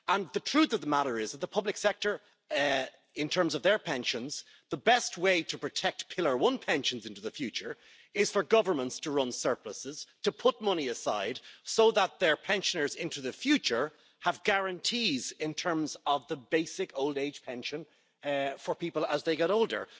The truth of the matter is that for the public sector, as regards their pensions, the best way to protect pillar one pensions into the future is for governments to run surpluses to put money aside so that their pensioners into the future have guarantees with regard to the basic old age pension for people as they get older.